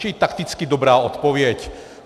Čili takticky dobrá odpověď.